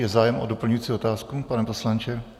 Je zájem o doplňující otázku, pane poslanče?